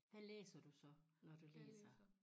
Hvad læser du så når du læser